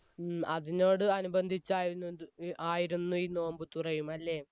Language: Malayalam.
ഉം അതിനോട് അനുബന്ധിച്ചായിരുന്നു ആയിരുന്നു ഈ നോമ്പ് തുറയും അല്ലെ